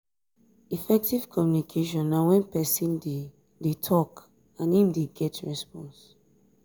effective communication na when persin de de talk and im de get response